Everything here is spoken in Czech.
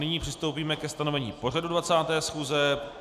Nyní přistoupíme ke stanovení pořadu 20. schůze.